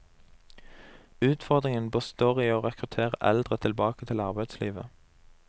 Utfordringen består i å rekruttere eldre tilbake til arbeidslivet.